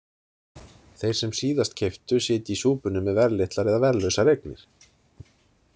Þeir sem síðast keyptu sitja í súpunni með verðlitlar eða verðlausar eignir.